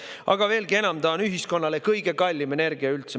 Aga veelgi enam, see on ühiskonnale kõige kallim energia üldse.